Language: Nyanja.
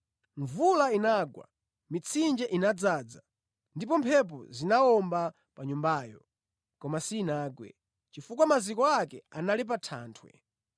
Mvula inagwa, mitsinje inadzaza, ndi mphepo zinawomba pa nyumbayo; koma sinagwe, chifukwa maziko ake anali pa thanthwe.